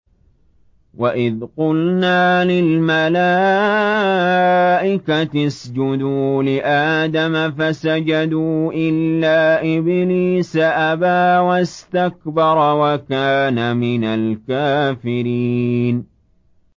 وَإِذْ قُلْنَا لِلْمَلَائِكَةِ اسْجُدُوا لِآدَمَ فَسَجَدُوا إِلَّا إِبْلِيسَ أَبَىٰ وَاسْتَكْبَرَ وَكَانَ مِنَ الْكَافِرِينَ